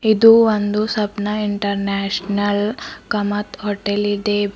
ಇದು ಒಂದು Sapna international Kamat hotel ಇದೆ.